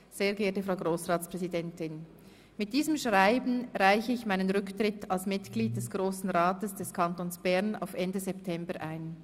Sehr geehrte Frau Grossratspräsidentin, mit diesem Schreiben reiche ich meinen Rücktritt als Mitglied des Grossen Rates des Kantons Bern auf Ende September ein.